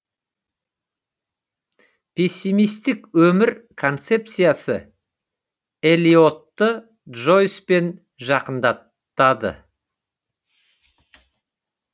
пессимистік өмір концепциясы элиотты джойспен жақындатады